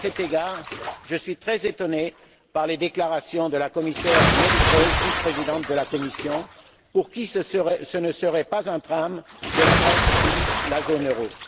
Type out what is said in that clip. À cet égard, je suis très étonné des déclarations de la commissaire Nelly Kroes, vice présidente de la Commission, pour qui ce ne serait pas un drame que la Grèce quitte la zone euro.